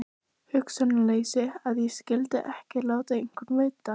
Hugsunarleysi að ég skyldi ekki láta einhvern vita.